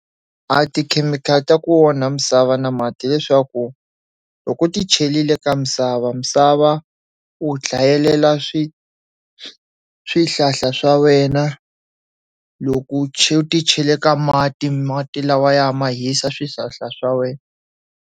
A tikhemikhali ta ku onha misava na mati hileswaku loko u ti chelile ka misava misava u dlayelela swi swihlahla swa wena loko u ti chele ka mati mati lawaya ma hisa swihlahla swa wena.